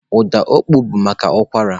Ọda opuo bụ maka ụkwara.